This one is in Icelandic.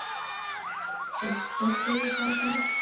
Sikksökkuðu bara svona.